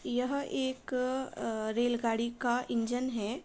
यह एक अ अ रेल गाड़ी का इंजन है।